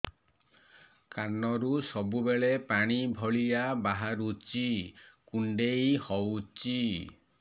କାନରୁ ସବୁବେଳେ ପାଣି ଭଳିଆ ବାହାରୁଚି କୁଣ୍ଡେଇ ହଉଚି